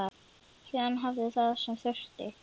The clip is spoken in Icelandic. Héðinn hafði það sem þurfti.